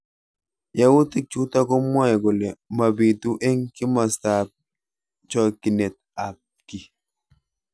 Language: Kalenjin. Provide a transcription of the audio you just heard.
Yautik chutok komwae kole mabitu eng kimosta ab chokyinet ab ki.